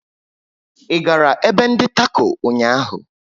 Ị gara ebe ndi Tako ụnyaahụ?